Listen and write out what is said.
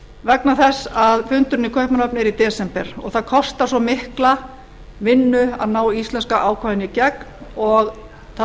vegna þess að fundurinn í kaupmannahöfn er í desember og það kostar svo mikla vinnu að ná íslenska ákvæðinu í gegn og það